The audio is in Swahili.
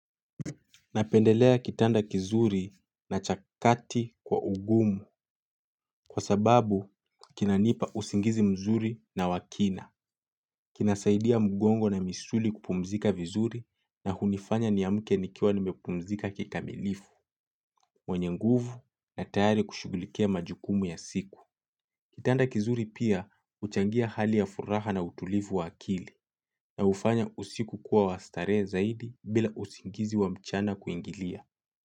Napendelea kitanda kizuri na cha kati kwa ugumu kwa sababu kinanipa usingizi mzuri na wa kina. Kinasaidia mgongo na misuli kupumzika vizuri na hunifanya niamuke nikiawa nimepumzika kikamilifu, mwenye nguvu na tayari kushugulikia majukumu ya siku. Kitanda kizuri pia uchangia hali ya furaha na utulifu wa akili na ufanya usiku kuwa wa starehe zaidi bila usingizi wa mchana kuingilia.